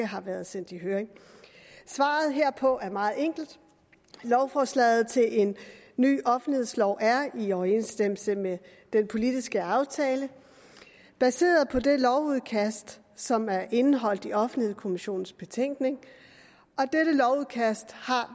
har været sendt i høring svaret herpå er meget enkelt lovforslaget til en ny offentlighedslov er i overensstemmelse med den politiske aftale der sidder på det lovudkast som er indeholdt i offentlighedskommissionens betænkning og dette lovudkast har